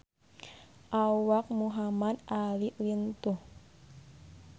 Awak Muhamad Ali lintuh